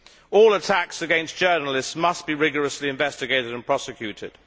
All attacks against journalists must be rigorously investigated and prosecuted.